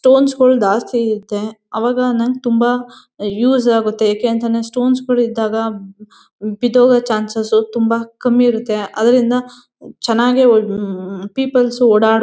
Stones ಗಳ್ ದಾಸ್ತಿ ಈಟ್. ಅವಾಗ ಅನ್ನಂಗ ತುಂಬಾ ಹ ಯೂಸ್ ಆಗತ್ತೆ. ಏಕೆ ಅಂತಂದೆ ಸ್ಟೋನ್ಸ್ ಗಳ್ ಇದ್ದಾಗ ಬಿದ್ದೋಗ ಚಾನ್ಸಸ್ ತುಂಬಾ ಕಮ್ಮಿ ಇರತ್ತೆ. ಅದ್ರಿಂದ ಚನಾಗಿ ಹ್ಮ್ಮ್ಮ್ಮ್ ಪೀಪಲ್ಸ್ ಓಡಾಡ್--